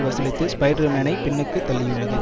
வசூலித்து ஸ்பைடர்மேனை பின்னுக்கு தள்ளியுள்ளது